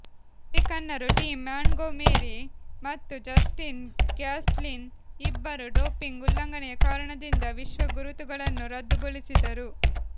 ಅಮೆರಿಕನ್ನರು Tim Montgomery ಮತ್ತು Justin Gatlin ಇಬ್ಬರೂ doping ಉಲ್ಲಂಘನೆಯ ಕಾರಣದಿಂದ ವಿಶ್ವ ಗುರುತುಗಳನ್ನು ರದ್ದುಗೊಳಿಸಿದರು